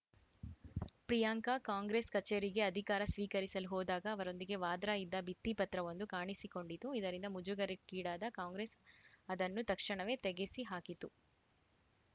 ಪ್ರಿಯಾಂಕಾ ಕಾಂಗ್ರೆಸ್‌ ಕಚೇರಿಗೆ ಅಧಿಕಾರ ಸ್ವೀಕರಿಸಲು ಹೋದಾಗ ಅವರೊಂದಿಗೆ ವಾದ್ರಾ ಇದ್ದ ಭಿತ್ತಿಪತ್ರವೊಂದು ಕಾಣಿಸಿಕೊಂಡಿತು ಇದರಿಂದ ಮುಜುಗರಕ್ಕೀಡಾದ ಕಾಂಗ್ರೆಸ್‌ ಅದನ್ನು ತಕ್ಷಣವೇ ತೆಗೆಸಿಹಾಕಿತು